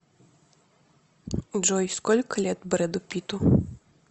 джой сколько лет брэду питту